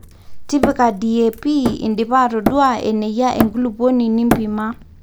tipika DAP indipa atodua eneyie enkulupuoni nimpima